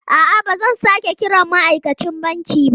A'a, ba zan sake kiran ma'aikacin banki ba.